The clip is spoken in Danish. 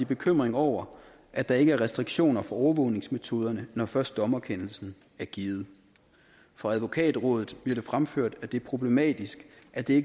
bekymring over at der ikke er restriktioner for overvågningsmetoderne når først dommerkendelsen er givet fra advokatrådet bliver det fremført at det er problematisk at det